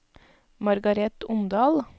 Margareth Omdal